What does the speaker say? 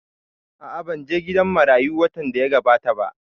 A'a, ban je gidan marayu watan da ya gabata ba